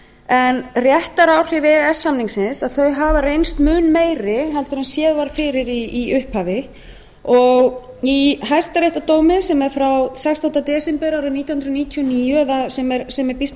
en réttaráhrif e e s samningsins hafa reynst mun meiri heldur en séð var fyrir í upphafi og í hæstaréttardómi sem er frá sextánda desember árið nítján hundruð níutíu og níu eða sem er býsna